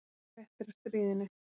Ég fékk fréttir af stríðinu.